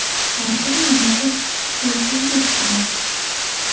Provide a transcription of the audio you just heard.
Har kuni nimadir qilishingiz kerak.